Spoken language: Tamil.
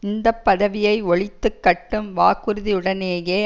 இந்த பதவியை ஒழித்து கட்டும் வாக்குறுதியுடனேயே